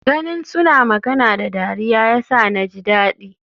Ganin suna magana da dariya yasa naji dadi.